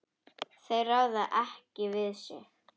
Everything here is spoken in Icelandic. Þeir ráða ekki við sig.